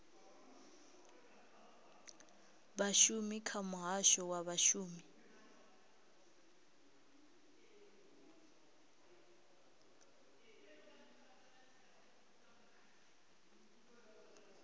vhashumi kha muhasho wa vhashumi